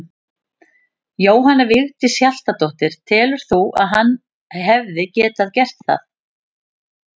Jóhanna Vigdís Hjaltadóttir: Telur þú að hann hefði getað gert það?